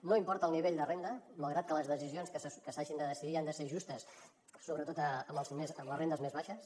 no importa el nivell de renda malgrat que les decisions que s’hagin de decidir han de ser justes sobretot amb les rendes més baixes